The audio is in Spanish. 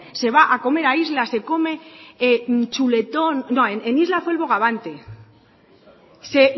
se va a comer a isla se come chuletón no en isla fue el bogavante se